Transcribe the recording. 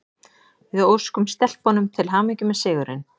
Við óskum stelpunum til hamingju með sigurinn!